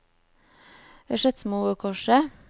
Skedsmokorset